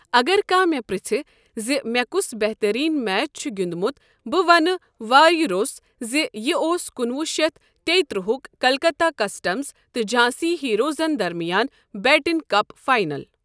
اگر کانٛہہ مےٚ پرٛژھِ زِ مےٚ کس بہترین میچ چھ گِیندمت بہٕ وننہٕ وایہ روٚس زِ یہ اوس کُنوُہ شیتھ تیٚیہ ترٛہک کلکتہ کسٹمز تہٕ جھانسی ہیروزن درمیان بیٹن کپ فائنل ۔